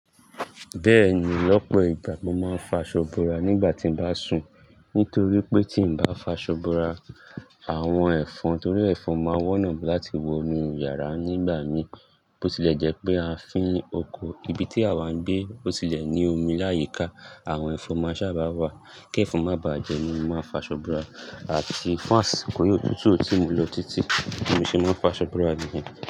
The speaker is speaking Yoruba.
Bẹ́ẹ̀ni, ọ̀pọ̀ ìgbà mo máa ń fi aso bora nígbà tí mo bá sùn. Nítorí pé tí n bá fi aso bora àwọn ẹ̀fọn torí ẹ̀fọn máa ń wọ́nà láti wo inú yàrá nígbà mí bó tilẹ̀ jẹ́ pé a fi oko ibi tí àwa ń gbé ó tilẹ̀ ní omi láyìíká, àwọn ẹ̀fọn máa sábà wá. Kí ẹ̀fọn má bá jẹ mí, mo máa fi aso bora àti fást to ri òtútù o ti mu lọ títí ni mo ṣe máa ń fi aso bora niyen.